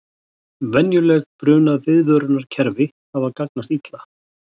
Venjuleg brunaviðvörunarkerfi hafa gagnast illa